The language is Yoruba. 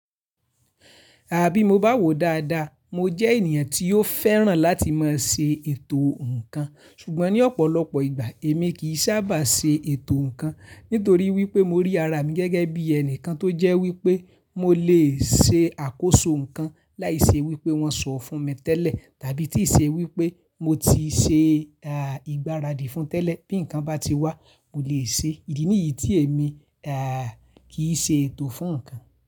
Àbí mo bá wò dáadáa, mo jẹ́ ènìyàn tí ó fẹ́ràn láti máa ṣe ètò nǹkan, ṣùgbọ́n ní ọ̀pọ̀lọpọ̀ ìgbà èmi kì í sábà ṣe ètò nǹkan. Nítorí wípé mo rí ara mi gẹ́gẹ́ bí ẹni kan tó jẹ́ wípé mo lè ṣe àkóso nǹkan láìṣe wípé wọ́n sọ fún mi tẹ́lẹ̀ tàbí tí ì ṣe wípé mo ti ṣe, à, ìgbáradì fún tẹ́lẹ̀. Bí nǹkan bá ti wá, mo lè ṣe. Ìdí nìyí tí èmi, à, kì í ṣe ètò fún nǹkan.